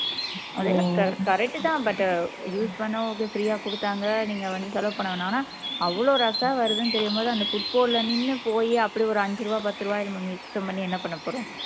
அது என்னவோ correct தான் but use பண்ண okay free ஆ கொடுத்தாங்க நீங்க வந்து செலவு பண்ண வேணாம்னு ஆனா அவ்ளோ rush ஆ வருதுன்னு தெரியும் போது அந்த footboard ல நின்னு போயி அப்படி ஒரு அஞ்சு ரூபா பத்து ரூபாய நம்ம மிச்சம் பண்ணி என்ன பண்ண போறோம்